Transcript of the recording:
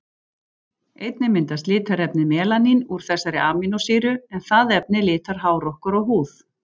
Einnig myndast litarefnið melanín úr þessari amínósýru, en það efni litar hár okkar og húð.